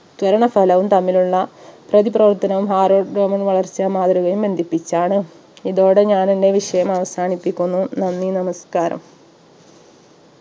ത്വരണ ഫലവും തമ്മിലുള്ള പ്രതിപ്രവർത്തനവും ഗമന വളർച്ച മാതൃകയും ബന്ധിപ്പിച്ചാണ് ഇതോടെ ഞാൻ എന്റെ വിഷയം അവസാനിപ്പിക്കുന്നു നന്ദി നമസ്കാരം